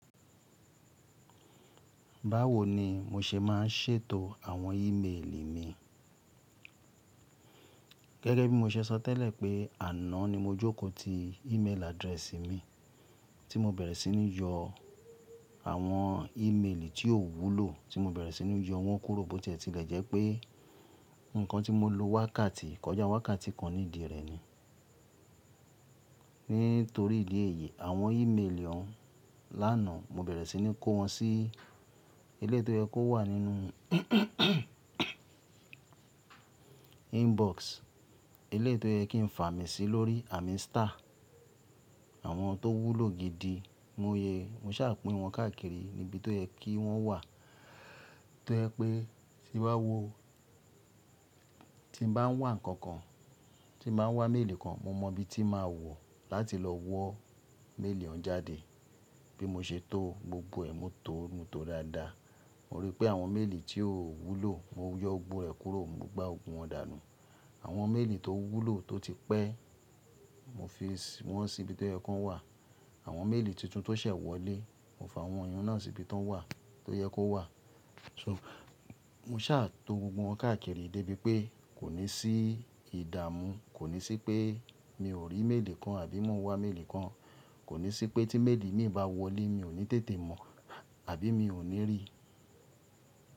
Báwo ni mo se máa ń ṣètò àwọn ímeèlì mi? Gẹ́gẹ́ bí mo ṣe sọ tẹ́lẹ̀ pé àná ni mo jókòó ti ímeèlì adirẹ́sì mi tí mo bẹ̀rẹ̀ sí ní yọ àwọn ímeèlì tí ò wúlò tí mo bẹ̀rẹ̀ sí ní yọ wọ́n kúrò bó tìẹ tìlẹ̀ jẹ́ pé nǹkan tí mo lo wákàtí, kọjá wákàtí kan nídìí rẹ̀ ni. Nítorí ìdí èyí àwọn ímeèlì ọ̀ún lánàá mo bẹ̀rẹ̀ sí ní kó wọn sí eleyi tó yẹ kó wà nínú inbox, eléyìí tó yẹ kí n fà mí sí lórí àmín star. Àwọn tó wúlò gidi lóye, mo ṣàpín wọn káàkiri níbi tó yẹ kí wọ́n wà tó yẹ pé tí bá wo, tí n bá ń wá ǹkan kan, tí n bá ń wá méèlì kan mo mọ ibi tí màá wọ̀ láti lọ wọ méèlì ọ̀ún jáde. Bí mo ṣe tó gbogbo ẹ̀ mo tó mo tó dáadáa. Mo rí pé àwọn méèlì tí ò wúlò mo yọ gbogbo rẹ̀ kúrò mo gbá gbogbo wọn dànù. Àwọn méèlì tó wúlò tó ti pẹ́ mo fi s wọn sí ibi tó yẹ kó wà. Àwọn méèlì tuntun tó ṣẹ̀ wọlé mo fa àwọn iyun náà sí ibi tó wà, tó yẹ kó wà. Mo ṣàtó gbogbo wọn káàkiri débi pé kò ní sí ìdààmú, kò ní sí pé mi ò rí méèlì kan àbí mo ń wá méèlì kan, kò ní sí pé tí méèlì mí bá wọlé mi ò ní tètè mọ̀ àbí mi ò ní rí.